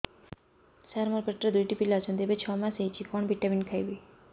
ସାର ମୋର ପେଟରେ ଦୁଇଟି ପିଲା ଅଛନ୍ତି ଏବେ ଛଅ ମାସ ହେଇଛି କଣ ଭିଟାମିନ ଖାଇବି